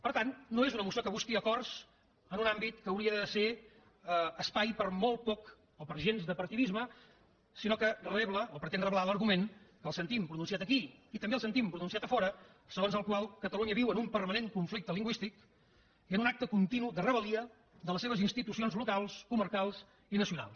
per tant no és una moció que busqui acords en un àmbit que hauria de ser espai per molt poc o per gens de partidisme sinó que rebla o pretén reblar l’argument que el sentim pronunciat aquí i també el sentim pronunciat a fora segons el qual catalunya viu en un permanent conflicte lingüístic i en un acte continu de rebel·lia de les seves institucions locals comarcals i nacionals